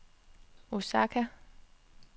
Osaka